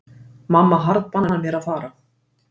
Mamma harðbannar mér að fara.